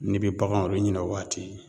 N'i bɛ baganw yɛrɛ ɲina waati